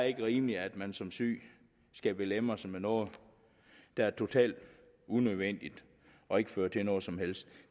ikke rimeligt at man som syg skal belemres med noget der er totalt unødvendigt og ikke fører til noget som helst